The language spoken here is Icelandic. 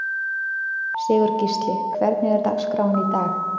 Sigurgísli, hvernig er dagskráin í dag?